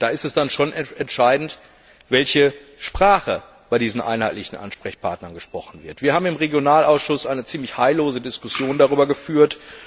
Da ist es dann schon entscheidend, welche Sprache bei diesen einheitlichen Ansprechpartnern gesprochen wird. Wir haben im Ausschuss für regionale Entwicklung eine ziemlich heillose Diskussion darüber geführt.